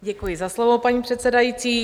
Děkuji za slovo, paní předsedající.